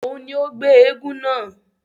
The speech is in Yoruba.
Òún ní o gbé èègún náà